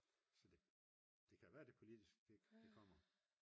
så det kan være det politiske det kommer